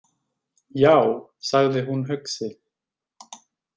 Já, sagði hún hugsi.